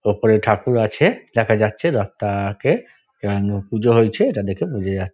ওপরে ঠাকুর আছে দেখা যাচ্ছে রাস্তা-আ-কে আম পুজো হয়েছে এটা দেখে বোঝা যা--